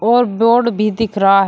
और बोर्ड भी दिख रहा है।